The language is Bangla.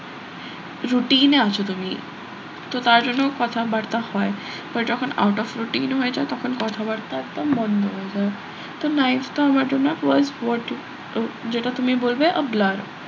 routine এ আছো তুমি তো তার জন্য কথাবার্তা হয় but যখন out of routine হয়ে যায় তখন কথাবার্তা একদম বন্ধ হয়ে যায় তো ninth তো আমার জন্য তো যেটা তুমি বলবে আর blur